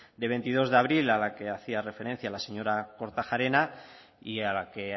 de veintidós de abril a la que hacía referencia la señora kortajarena y a la que